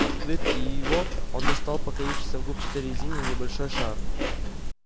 открыв и его он достал покоившийся в губчатой резине небольшой шар